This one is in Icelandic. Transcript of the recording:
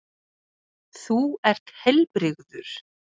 Þú ert heilbrigður.